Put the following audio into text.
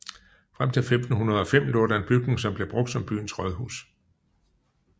Frem til 1505 lå der en bygning som blev brugt som byens rådhus